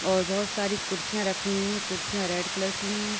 और बहोत सारी कुर्सियाँ रखी हुई हैं। कुर्सियॉँ रेड कलर की हैं।